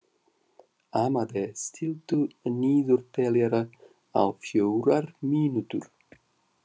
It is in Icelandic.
Amadea, stilltu niðurteljara á fjórar mínútur.